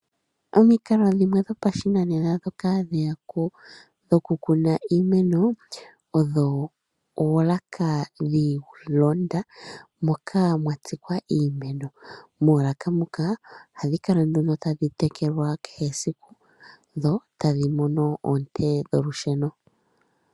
Omikalo dhimwe dhopashinanena dhokukuna iimeno, oolaka dhono hadhi kala dhalondathana moka mwatsikwa iimeno. Moolaka muka ohadhi kala tadhi tekelwa kehe esiku dhotadhi mono oonte dholusheno.